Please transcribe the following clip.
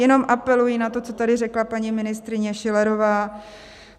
Jenom apeluji na to, co tady řekla paní ministryně Schillerová.